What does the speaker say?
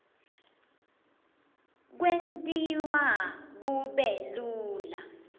kwentiwa kube lula